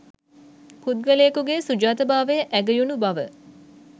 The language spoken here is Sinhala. පුද්ගලයෙකුගේ සුජාතභාවය ඇගයුණු බව